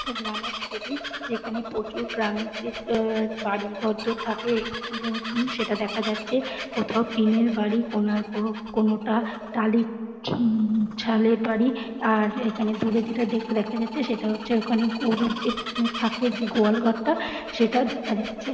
একটা গ্রামের ছবি যেখানে গ্রামের যে আ বাড়ি ঘর দর থাকে দেখা যাচ্ছে । কোথাও টিন -এর বাড়ি কোনার কোনো টা টালির ছুম ছালের বাড়ি । আর এখানে দূরে যেটা দেখা যাচ্ছে সেটা হচ্ছে গরু যে মোঃ থাকে যে গোয়াল ঘরটা সেটা দেখা যাচ্ছে।